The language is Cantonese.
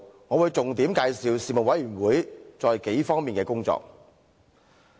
我會重點介紹事務委員會在數個方面的工作。